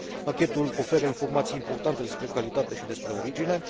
Pachetul oferă informații importante despre calitate și despre origine.